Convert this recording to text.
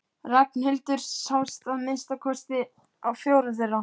Ragnhildur sást að minnsta kosti á fjórum þeirra.